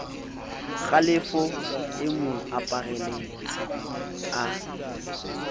kgalefo e mo aparele a